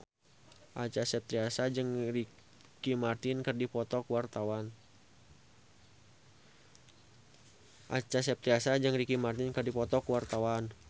Acha Septriasa jeung Ricky Martin keur dipoto ku wartawan